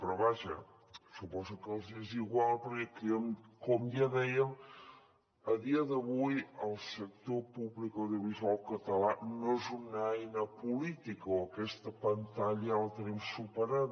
però vaja suposo que els hi és igual perquè com ja dèiem a dia d’avui el sector públic audiovisual català no és una eina política o aquesta pantalla ja la tenim superada